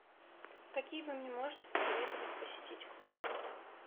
какие вы мне можете посоветовать посетить клубы